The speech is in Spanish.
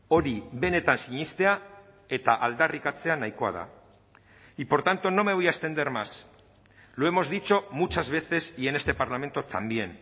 hori benetan sinestea eta aldarrikatzea nahikoa da y por tanto no me voy a extender más lo hemos dicho muchas veces y en este parlamento también